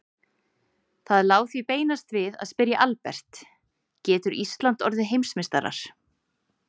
Það lá því beinast við að spyrja Albert, getur Ísland orðið Heimsmeistarar?